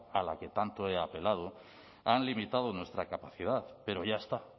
a la que tanto he apelado han limitado nuestra capacidad pero ya está